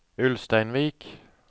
Ulsteinvik